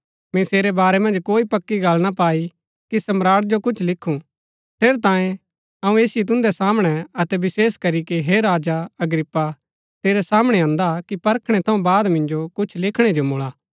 मैंई सेरै बारै मन्ज कोई पक्की गल्ल ना पाई कि सम्राट जो कुछ लिखु ठेरैतांये अऊँ ऐसिओ तुन्दै सामणै अतै विशेष करीके हे राजा अग्रिप्पा तेरै सामणै अन्दा कि परखणै थऊँ बाद मिन्जो कुछ लिखणै जो मूळा